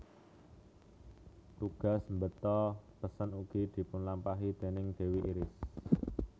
Tugas mbeta pesen ugi dipunlampahi déning dewi Iris